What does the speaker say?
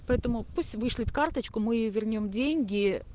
поэтому пусть вышлет карточку мы вернём деньги